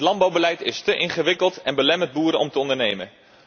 Het landbouwbeleid is te ingewikkeld en belemmert boeren om te ondernemen.